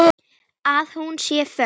Að hún sé föst.